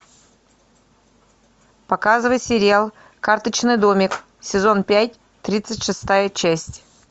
показывай сериал карточный домик сезон пять тридцать шестая часть